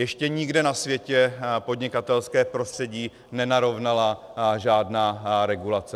Ještě nikde na světě podnikatelské prostředí nenarovnala žádná regulace.